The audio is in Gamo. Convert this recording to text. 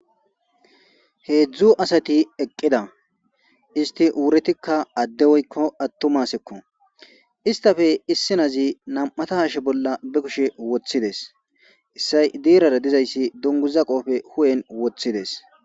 Hezdu asati eqida issiti wuretika ade woyko atuma asako istape issi nazi nam'ata hashe bola be kushe wotides issay dirara dizaysi dunguza qophe huphen wotides.